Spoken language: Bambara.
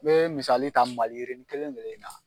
N be misali ta maliyirini kelen kelen in na